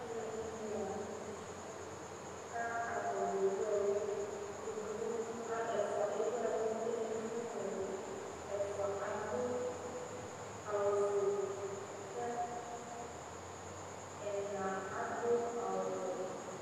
Alʋɛdìní la ntɛ kʋ atani ɛwu ɛlu Ɛfʋa ɛwu ɛlu kʋ ɛdigbo newu ɛlu Ɛfʋa adu awu fʋe kʋ ɛna adu awu wɛ